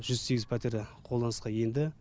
жүз сегіз пәтер қолданысқа енді